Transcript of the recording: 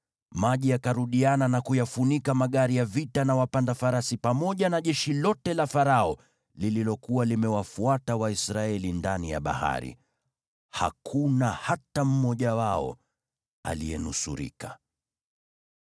Maji yakarudiana na kuyafunika magari ya vita na wapanda farasi pamoja na jeshi lote la Farao lililokuwa limewafuata Waisraeli ndani ya bahari. Hakuna hata mmoja wao aliyenusurika.